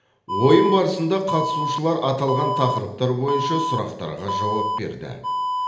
ойын барысында қатысушылар аталған тақырыптар бойынша сұрақтарға жауап берді